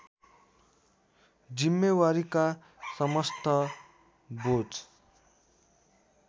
जिम्मेवारीका समस्त बोझ